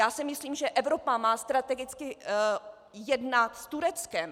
Já si myslím, že Evropa má strategicky jednat s Tureckem.